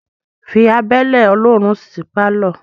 Fí abẹ́lẹ́ olóòórún sí pálọ̀